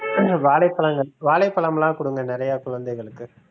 கொஞ்சம் வாழைப்பழங்கள் வாழைப்பழம்லாம் கொடுங்க நிறைய குழந்தைகளுக்கு